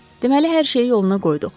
Deməli hər şeyi yoluna qoyduq.